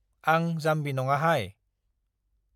आं जाम्बि नङाहाय।